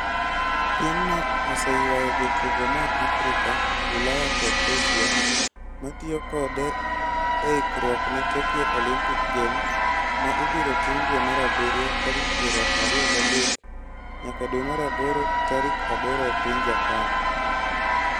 Piemno oseywayo jotugo moa Afrika, Ulaya kod Asia, ma tiyo kode e ikruok ne Tokyo Olympic Games ma ibiro tim dwe mar abiriyo tarik piero ariyo gi adek nyaka dwe mar aboro tarik aboro e piny Japan.